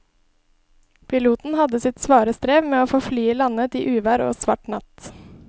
Piloten hadde sitt svare strev med å få landet flyet i uvær og svart natt.